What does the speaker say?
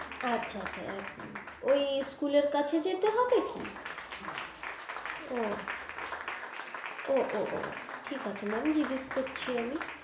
আচ্ছা আচ্ছা এক minute ঐ school এর কাছে যেতে হবে কি ও ও ও ও ঠিক আছে mam জিজ্ঞেস করছি আমি